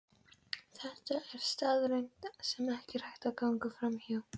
Brúnið kjötið í helmingnum af olíunni.